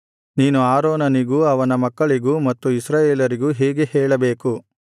ನೀನು ಆರೋನನಿಗೂ ಅವನ ಮಕ್ಕಳಿಗೂ ಮತ್ತು ಇಸ್ರಾಯೇಲರಿಗೂ ಹೀಗೆ ಹೇಳಬೇಕು